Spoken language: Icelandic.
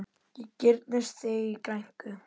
Ég girnist þig í grænku.